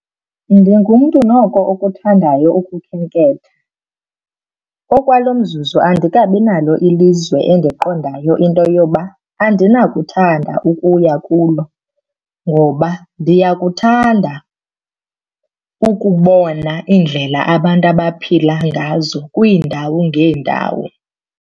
Ndingumntu noko okuthandayo ukukhenketha. Okwalo mzuzu andikabi nalo ilizwe endiqondayo into yoba andinakuthanda ukuya kulo ngoba ndiyakuthanda ukubona iindlela abantu abaphila ngazo kwiindawo ngeendawo.